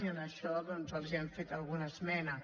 i en això doncs els hem fet alguna esmena